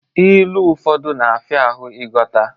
Ilu ụfọdụ na-afia ahụ ighọta.